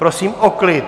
Prosím o klid!